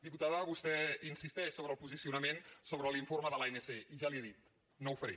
diputada vostè insisteix sobre el posicionament sobre l’informe de l’anc i ja li ho he dit no ho faré